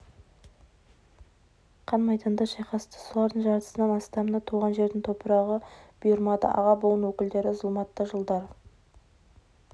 қан майданда шайқасты солардың жартысынан астамына туған жердің топырағы бұйырмады аға буын өкілдері зұлматты жылдар